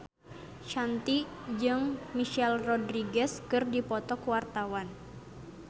Shanti jeung Michelle Rodriguez keur dipoto ku wartawan